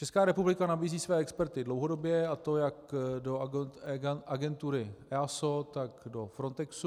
Česká republika nabízí své experty dlouhodobě, a to jak do agentury EASO, tak do Frontexu.